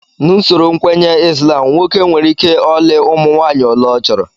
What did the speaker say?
N'usoro nkwenye Islam, nwoke nwereike ọlị ụmụ nwaanyị ole ọ chọrọ